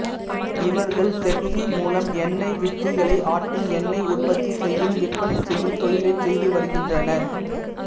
இவர்கள் செக்கு மூலம் எண்ணெய் வித்துக்களை ஆட்டி எண்ணெய் உற்பத்தி செய்து விற்பனை செய்யும் தொழிலைச் செய்து வருகின்றனர்